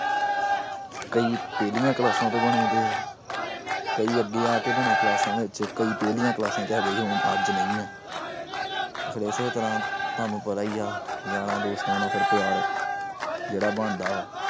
ਕਈ ਪਿਛਲੀਆਂ class ਤੋਂ ਬਣੇ ਵੇ ਆ। ਕਈ ਅੱਗੇ ਆ ਕੇ ਬਣੇ class ਵਿਚ, ਕਈ ਪਿਛਲੀਆਂ class ਚ ਹੈਗੇ ਸੀ, ਅੱਜ ਨਹੀਂ ਆ। ਫਿਰ ਇਸੇ ਤਰ੍ਹਾਂ ਤੁਹਾਨੂੰ ਪਤਾ ਈ ਆ ਯਾਰਾਂ ਦੋਸਤਾਂ ਨਾਲ ਪਿਆਰ ਜਿਹੜਾ ਬਣਦਾ।